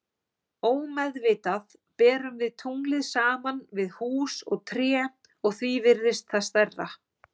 Ómeðvitað berum við tunglið saman við hús og tré og því virðist það stærra.